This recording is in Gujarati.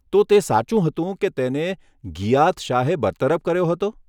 તો, તે સાચું હતું, કે તેને ગિયાથ શાહે બરતરફ કર્યો હતો?